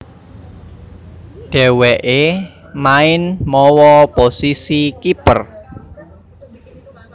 Dhèwèké main mawa posisi kiper